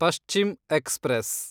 Paschim express